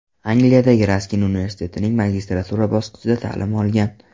Angliyadagi Raskin universitetining magistratura bosqichida ta’lim olgan.